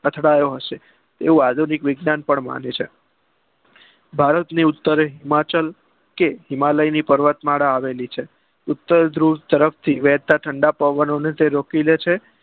અથડાયો હશે એવું આધુનિક વિજ્ઞાન પણ માને છે ભારત સ્તરે હિમાચલ કે હીમાલય પર્વત માળા આવેલી છે ઉતર ધુવ તરફ થી વહેતા પવનોને રોકી લે છે